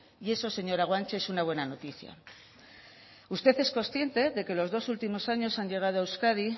y eso señora guanche es una buena noticia usted es consciente de que los dos últimos años han llegado a euskadi